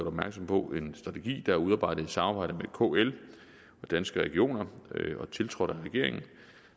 opmærksom på en strategi der er udarbejdet i samarbejde med kl og danske regioner og tiltrådt af regeringen